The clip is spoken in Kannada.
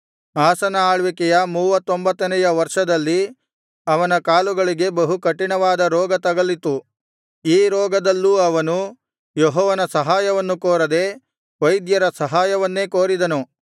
ಆಸನ ಆಳ್ವಿಕೆಯ ಮೂವತ್ತೊಂಬತ್ತನೆಯ ವರ್ಷದಲ್ಲಿ ಅವನ ಕಾಲುಗಳಿಗೆ ಬಹು ಕಠಿಣವಾದ ರೋಗ ತಗಲಿತು ಈ ರೋಗದಲ್ಲೂ ಅವನು ಯೆಹೋವನ ಸಹಾಯವನ್ನು ಕೋರದೆ ವೈದ್ಯರ ಸಹಾಯವನ್ನೇ ಕೋರಿದನು